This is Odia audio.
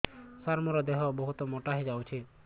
ସାର ମୋର ଦେହ ବହୁତ ମୋଟା ହୋଇଯାଉଛି